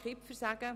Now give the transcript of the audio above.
Kipfer: